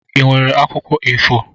Ị nwere akwụkwọ A4?